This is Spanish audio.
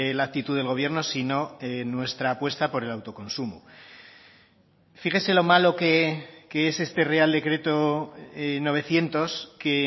la actitud del gobierno sino nuestra apuesta por el autoconsumo fíjese lo malo que es este real decreto novecientos que